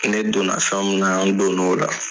Ne donna fɛn mun na, n donn'o la.